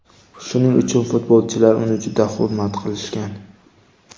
Shuning uchun, futbolchilar uni juda hurmat qilishgan.